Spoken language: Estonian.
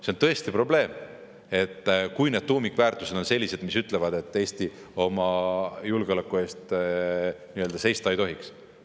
See on tõesti probleem, kui tuumikväärtused on sellised, Eesti oma julgeoleku eest seista ei tohiks.